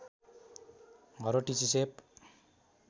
हर्वट टिची सेप